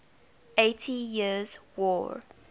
eighty years war